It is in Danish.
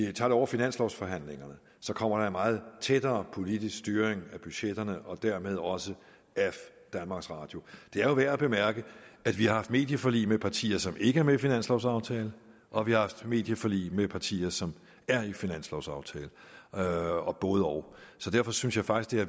vi tager det over finanslovforhandlingerne så kommer der en meget tættere politisk styring af budgetterne og dermed også af danmarks radio det er jo værd at bemærke at vi har haft medieforlig med partier som ikke er med i finanslovaftalen og vi haft medieforlig med partier som er i finanslovaftalen og både og så derfor synes jeg faktisk